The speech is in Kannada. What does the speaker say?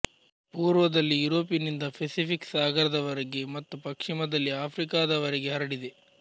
ಪೂರ್ವದಲ್ಲಿ ಯೂರೋಪಿನಿಂದ ಫೆಸಿಫಿಕ್ ಸಾಗರದವರೆಗೆ ಮತ್ತು ಪಶ್ಚಿಮದಲ್ಲಿ ಆಫ್ರಿಕಾದವರೆಗೆ ಹರಡಿದೆ